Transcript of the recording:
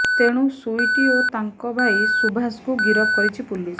ତେଣୁ ସୁଇଟି ଓ ତାଙ୍କ ଭାଇ ସୁଭାଷଙ୍କୁ ଗିରଫ କରିଛି ପୁଲିସ